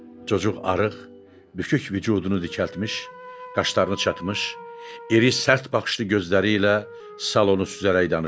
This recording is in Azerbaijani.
Çocuq arıq, bükük vücudunu dikəltmiş, qaşlarını çatmış, iri, sərt baxışlı gözləri ilə salonu süzərək danışırdı.